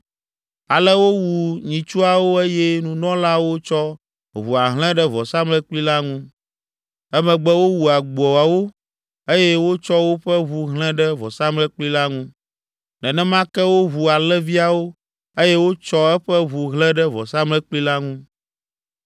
Ale wowu nyitsuawo eye nunɔlaawo tsɔ ʋua hlẽ ɖe vɔsamlekpui la ŋu. Emegbe wowu agboawo eye wotsɔ woƒe ʋu hlẽ ɖe vɔsamlekpui la ŋu. Nenema ke wowu alẽviawo eye wotsɔ eƒe ʋu hlẽ ɖe vɔsamlekpui la ŋu.